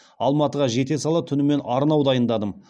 алматыға жете сала түнімен арнау дайындадым